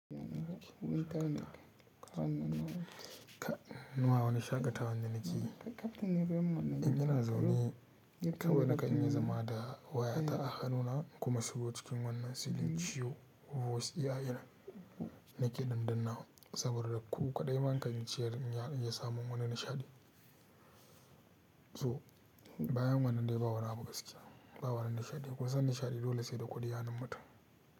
Ba wani shakatawan da nake yi, in ina zaune kawai na kan iya zama da wayata a hannuna kuma shigo cikin wannan silinciyo, voice AI dina nake dan dannawa saboda ku kaɗai man kan ciya in ya samu wani nishaɗi. To bayan wannan dai ba wani abu gaskiya, ba wani nishaɗi. Kun san nishaɗi dole sai da ƙudi a hannu mutum.